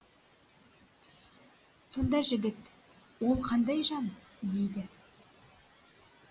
сонда жігіт ол қандай жан дейді